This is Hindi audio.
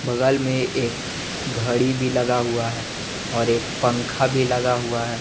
बगल में एक घड़ी भी लगा हुआ है और एक पंखा भी लगा हुआ है।